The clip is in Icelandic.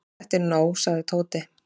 Þetta er nóg sagði Tóti.